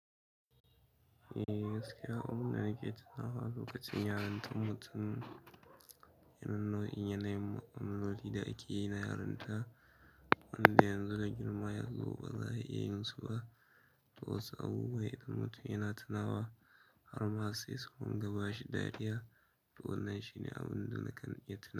Eh gaskiya, abun da nake tunawa lokacin yarintar mutum. Irin nau'in yanayin mu'amaloli da ake yi na yarinta wanda yanxu da girma yanxu ba za'a iya yinsu ba to wasu abubuwa idan mutum yana tunawa. Har ma sai su rinƙa bashi dariya. To wannan shine abun da nakan iya tuna.